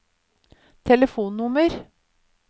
telefonnummer